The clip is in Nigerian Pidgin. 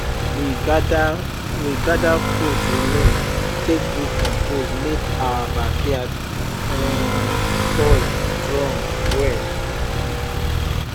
we gather we gather food remain take do compost make our backyard um soil strong well